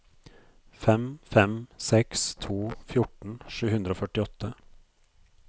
fem fem seks to fjorten sju hundre og førtiåtte